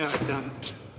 Aitäh!